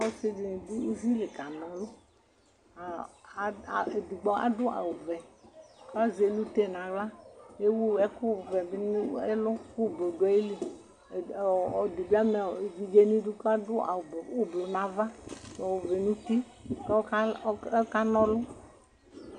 ɔsidini dʋ uwili kanɔlʋkɔɔɔ edigbo adʋ awu vɛ, kazɛlute naɣlaEwu ɛkʋvɛ bi nʋ ɛlu, kʋ ublu dʋ ayiliɛd, ɔɔɔ ɛdibi ama ɔɔ evidze nidu kadʋ awu ublu nava, ɔvɛ ŋuti kɔkanɔlʋ